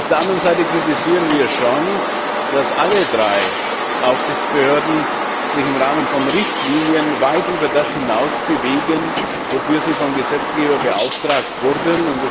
Auf der anderen Seite kritisieren wir schon, dass alle drei Aufsichtsbehörden sich im Rahmen von Richtlinien weit über das hinaus bewegen, wofür sie vom Gesetzgeber beauftragt wurden.